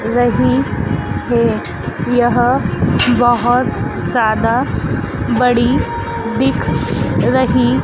रही है। यह बहोत ज्यादा बड़ी दिख रही--